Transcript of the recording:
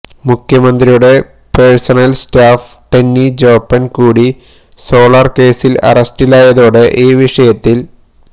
മുഖ്യമന്ത്രിയുടെ personal staff Tenny Joppan കൂടി solar കേസില് അറസ്റ്റിലായതോടെ ഈ വിഷയത്തില്